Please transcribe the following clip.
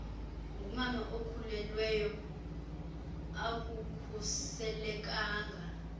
ngumama okhulelweyo akukhuselekanga